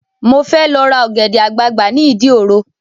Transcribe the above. Mo fẹ́ lọ ra ọ̀gẹ̀dẹ̀ àgbagbà ni ìdí òro